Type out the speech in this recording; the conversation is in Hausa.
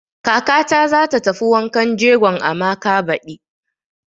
Kakata za ta tafi wankan jegon Amaka baɗi.